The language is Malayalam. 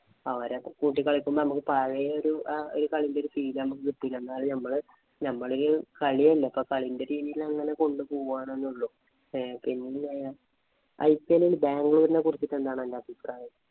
അവരെ കൂട്ടി കളിക്കുമ്പോള്‍ നമുക്ക് പഴയൊരു ആ കളീന്‍റെ feel ഞമ്മക്ക് കിട്ടിട്ടുണ്ട്. എന്നാലും ഞമ്മള് കളിയല്ലേ. അപ്പൊ ഞമ്മള് കളീന്‍റെ രീതിയില് അങ്ങനെ കൊണ്ട്പോവാന്നെ ഉള്ളൂ. ഏ പിന്ന IPL ഇല്‍ ബാംഗ്ലൂരിനെ കുറിച്ചിട്ട്‌ എന്താണ് അന്‍റെ അഭിപ്രായം.